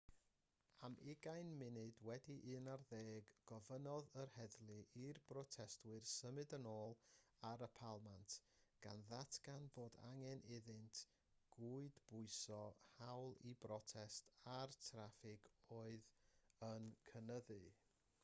am 11:20 gofynnodd yr heddlu i'r protestwyr symud yn ôl ar y palmant gan ddatgan bod angen iddynt gydbwyso'r hawl i brotest â'r traffig oedd yn cynyddu